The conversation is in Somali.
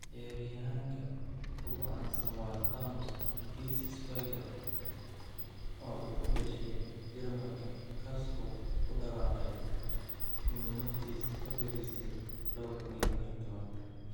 Ciyaaryahanka ugu caansan waa Thomas Hitzlsperger, oo u dhashay Jarmalka, kaas oo ku dhawaaqay inuu naftiisa ka fariistay 2014.